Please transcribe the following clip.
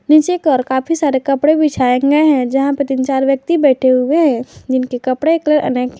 नीचे कर काफी सारे कपड़े बिछाएंगे हैं जहां पर तीन चार व्यक्ति बैठे हुए हैं जिनके कपड़े कलर अनेक है।